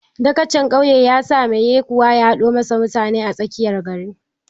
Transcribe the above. Dagacin ƙauye ya sa mai yekuwa ya haɗo mashi mutane a tsakiyar gari.